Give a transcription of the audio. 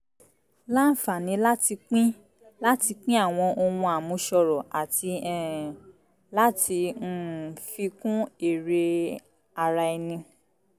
láǹfààní láti pín láti pín àwọn ohun àmúṣọrọ̀ àti um láti um fi kún èrè ara ẹni